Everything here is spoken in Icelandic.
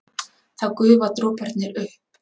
Þá gufa droparnir upp.